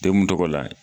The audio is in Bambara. Degun tɔgɔ la